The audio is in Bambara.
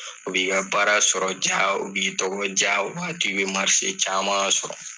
O b'i ka baara sɔrɔ ja, o b'i tɔgɔ ja , o b'a to i bi caman sɔrɔ.